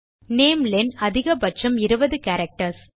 நாமெலென் அதிகபட்சம் 20 கேரக்டர்ஸ்